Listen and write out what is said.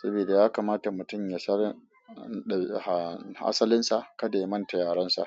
sabida ya kamata mutum ya san asalinsa kada ya manta yarensa.